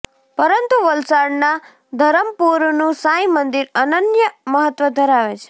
પરંતુ વલસાડના ધરમપુરનું સાંઈ મંદિર અનન્ય મહત્વ ધરાવે છે